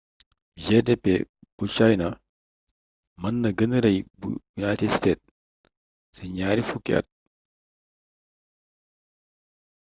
gdp bu china mën na gënë rëy bu united states ci ñaar fukki at